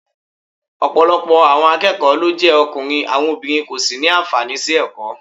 Ọ̀pọ̀lọpọ̀ àwọn akẹ́kọ̀ọ́ ló jẹ́ ọkùnrin, àwọn obìnrin kò sì ní àǹfààní sí ẹ̀kọ́